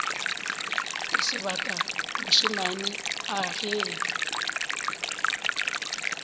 o sebata mošemane a ge